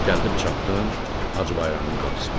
Gəldim çatdım Hacı Bayramın qapısına.